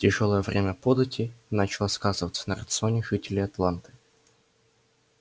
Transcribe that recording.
тяжёлое время податей начало сказываться на рационе жителей атланты